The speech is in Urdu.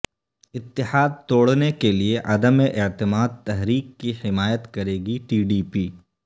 اتحاد توڑنے کیلئے عدم اعتماد تحریک کی حمایت کرے گی ٹی ڈی پی